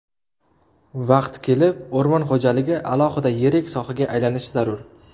Vaqti kelib, o‘rmon xo‘jaligi alohida yirik sohaga aylanishi zarur.